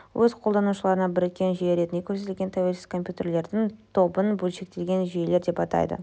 өз қолдану-шыларына біріккен жүйе ретінде көрсетілген тәуелсіз компьютерлердің тобын бөлшектелген жүйелер деп атайды